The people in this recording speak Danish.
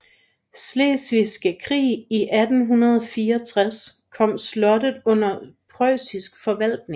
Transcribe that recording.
Slesvigske Krig i 1864 kom slottet under preussisk forvaltning